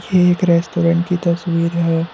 एक रेस्टोरेंट की तस्वीर है।